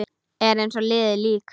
Er eins og liðið lík.